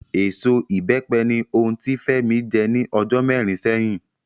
Èso Ìbẹ́pẹ ni ohun tí Fẹ́mi jẹ́ ní ọjọ́ mẹ́rin sẹ́yìn